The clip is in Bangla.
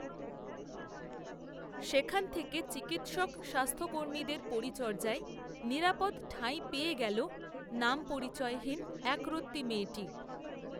সেখান থেকে চিকিত্সক স্বাস্থ্যকর্মীদের পরিচর্যায়, নিরাপদ ঠাঁই পেয়ে গেল, নামপরিচয়হীন, একরত্তি মেয়েটি